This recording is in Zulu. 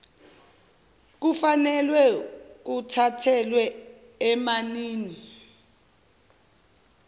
kufanelwe kuthathelwe enanini